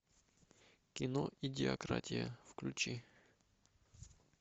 кино идиократия включи